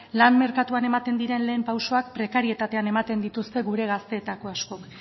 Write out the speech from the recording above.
lan merkatuan ematen diren lehen pausuak prekarietatean ematen dituzte gure gazteetako askok